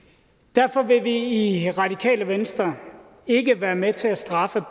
derfor vil vi i radikale venstre ikke være med til at straffe